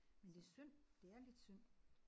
Men det er synd. Det er lidt synd